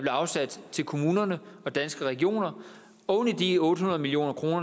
afsat til kommunerne og danske regioner oven i de otte hundrede million kr